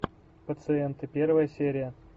пациенты первая серия